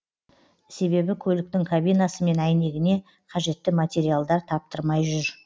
себебі көліктің кабинасы мен әйнегіне қажетті материалдар таптырмай жүр